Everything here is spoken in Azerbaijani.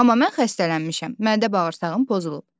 Amma mən xəstələnmişəm, mədə bağırsağım pozulub.